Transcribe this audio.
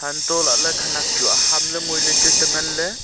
hantoh lah ley khanak chu aham ngoi ley chu te ngan ley.